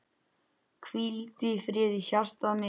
Hvíldu í friði hjartað mitt.